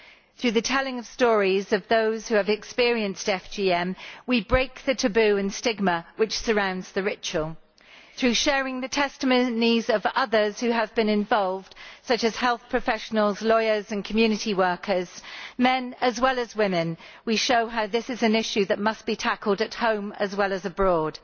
Through the telling of the stories of those who have experienced FGM we break the taboo and stigma which surround the ritual. Through sharing the testimonies of others who have been involved, such as health professionals, lawyers and community workers men as well as women we show how this is an issue that must be tackled at home as well as abroad.